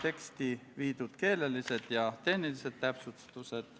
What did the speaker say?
Kas Riigikogu liikmetel on soovi pidada läbirääkimisi?